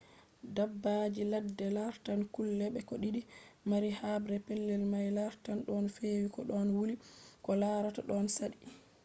dabbaji ladde lartan kulɓe ko ɗi mari haɓre. pellel may lartan ɗon fewi ko ɗon wuli ko larta ɗon saɗɗi